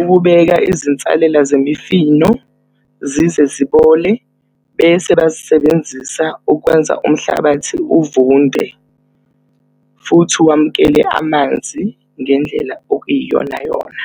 ukubeka izinsalela zemifino zize zibole bese bazisebenzisa ukwenza umhlabathi uvunde. Futhi uwamukele amanzi ngendlela okuyiyonayona.